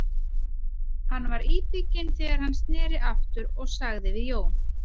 Hann var íbygginn þegar hann sneri aftur og sagði við Jón